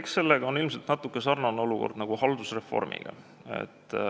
Eks sellega ole ilmselt natuke samasugune olukord nagu haldusreformiga.